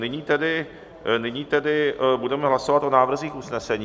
Nyní tedy budeme hlasovat o návrzích usnesení.